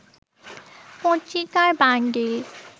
পত্রিকার বান্ডিল